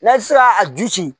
N'a ti se ka a ju ci